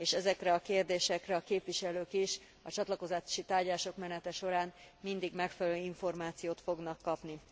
És ezekre a kérdésekre a képviselők is a csatlakozási tárgyalások menete során mindig megfelelő információt fognak kapni.